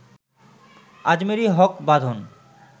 Ajmeri Haque Badhon